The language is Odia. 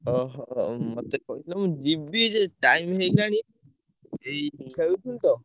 ଓହୋ! ମତେ କହିଲ ମୁଁ ଯିବି ଯେ, time ହେଇଗଲାଣି ଏଇ ଖେଳୁଥିଲୁ ତ।